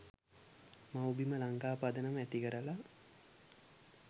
මව්බිම ලංකා පදනම ඇති කරලා